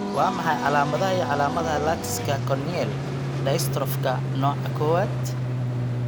Waa maxay calaamadaha iyo calaamadaha Latticeka corneal dystrophyka nooca kowaad?